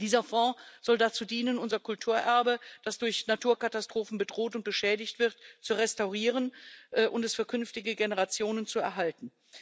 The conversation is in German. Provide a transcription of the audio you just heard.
Dieser Fonds soll dazu dienen, unser Kulturerbe, das durch Naturkatastrophen bedroht und beschädigt wird, zu restaurieren und es für künftige Generationen zu erhalten.